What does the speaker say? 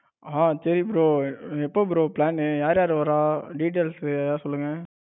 ஹான் சரி bro எப்ப bro plan னு யார் யார் வார details எதாவது சொல்லுங்க